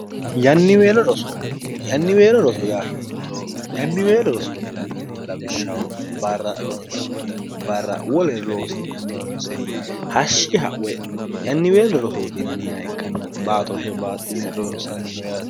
yanniweelo roso yaa hiitto yanniweelo rosootinanniho lawishshaho barra ronsikkinni barra woler loosi'nannihonse hashshi ha'we yanniweelo rosootinanniha ikkanna baatoshe baaxxine ronsanniho yaati